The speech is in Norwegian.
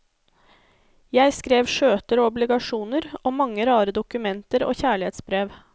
Jeg skrev skjøter og obligasjoner, og mange rare dokumenter og kjærlighetsbrev.